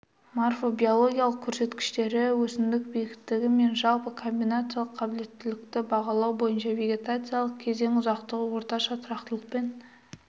морфобиологиялық көрсеткіштері өсімдік биіктігі мен жалпы комбинациялық қабілеттілікті бағалау бойынша вегетациялық кезең ұзақтығы орташа тұрақтылықпен